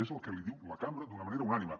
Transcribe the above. és el que li diu la cambra d’una manera unànime